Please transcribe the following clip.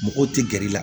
Mɔgɔw tɛ gɛrɛ i la